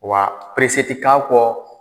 Wa tɛ k'a kɔ